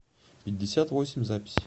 пятьдесят восемь запись